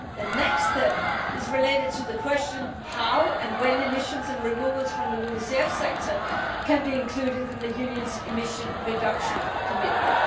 The next step is related to the question of how and when emissions and removals from the LULUCF sector can be included in the Union's emission reduction commitment.